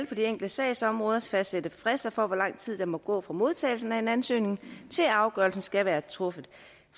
på de enkelte sagsområder skal fastsætte frister for hvor lang tid der må gå fra modtagelsen af en ansøgning til afgørelsen skal være truffet